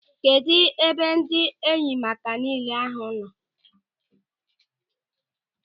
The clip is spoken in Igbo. Kedụ ebe ndị enyemaka nille ahụ nọ?